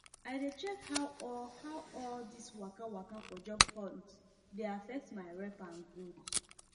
i dey check how all how all this waka waka for job hunt dey affect my rep and growth